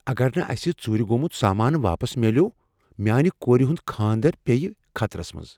اگر نہٕ اسہ ژوٗرِ گومُت سامان واپس میلیوٚو، میانِہ کور ہنٛد کھاندر پیٚیہ خطرس منٛز۔